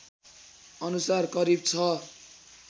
अनुसार करिब ६